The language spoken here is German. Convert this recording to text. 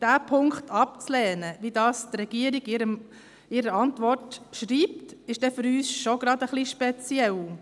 Diesen Punkt abzulehnen, wie die Regierung in ihrer Antwort schreibt, ist für uns schon etwas speziell.